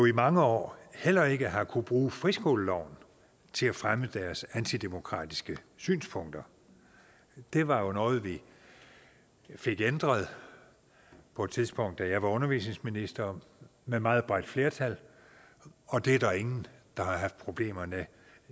i mange år heller ikke har kunnet bruge friskoleloven til at fremme deres antidemokratiske synspunkter det var jo noget vi fik ændret på et tidspunkt da jeg var undervisningsminister med meget bredt flertal og det er der ingen der har haft problemer med